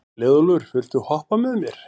Leiðólfur, viltu hoppa með mér?